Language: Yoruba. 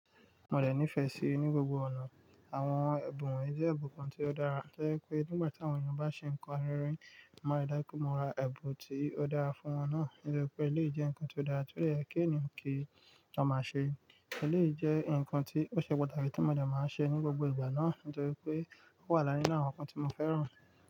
Mo dẹ̀ nífẹ̀ẹ́ síi ní gbogbo ọ̀nà. Àwọn ẹ̀bùn won yi jẹ́ ẹ̀bùn kan tí ó dára, torí pé nígbà tí àwọn ènìyàn bá ṣe nǹkan rere, mo ma riju pè, mo ra ẹ̀bùn tí ó dára fún wọn náà. Nítorí pé eléyìí jẹ́ nǹkan tí ó dára, torí ẹ́ kí ni kí a má ṣe? Eléyìí jẹ́ nǹkan tí ó ṣe pàtàkì tí mo dẹ̀ máa ń ṣe ní gbogbo ìgbà náà. Nítorí pé ó wà láàrin àwọn nǹkan tí mo fẹ́ràn.